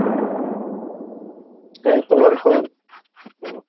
হ্যাঁ তোমার খবর বলো?